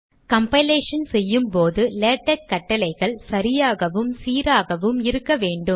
compilation செய்யும் போது LaTeX கட்டளைகள் சரியாகவும் சீராகவும் இருக்க வேண்டும்